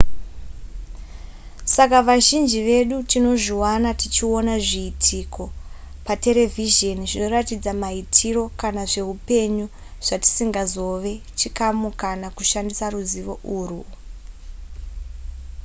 saka vazhinji vedu tinozviwana tichiona zviitiko zvepaterevhizheni zvinotiratidza maitiro kana zvehupenyu zvatisingazove chikamu kana kushandisa ruzivo urwu